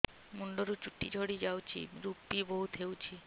ମୁଣ୍ଡରୁ ଚୁଟି ଝଡି ଯାଉଛି ଋପି ବହୁତ ହେଉଛି